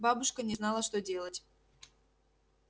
бабушка не знала что делать